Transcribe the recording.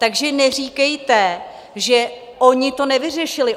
Takže neříkejte, že oni to nevyřešili.